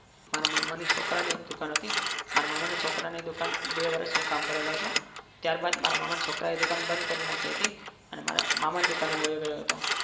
મારા મામા ના છોકરા ની એક દુકાન હતી મારા મામાના છોકરાની દુકાન બે વર્ષ હું કામ કરેલો છું ત્યારબાદ મારા મામા ને છોકરાએ દુકાન બંધ કરી નાખી હતી. અને મારા મામા ની દુકાને વહી ગયો હતો.